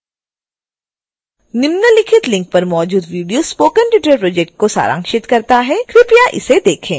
निम्नलिखित लिंक पर मौजूद वीडियो स्पोकन ट्यूटोरियल प्रोजेक्ट को सारांशित करता है कृपया इसे देखें